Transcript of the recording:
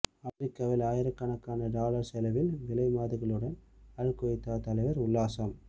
அமெரிக்காவில் ஆயிரக்கணக்கான டாலர் செலவில் விலைமாதுகளுடன் அல் கொய்தா தலைவர் உல்லாசம்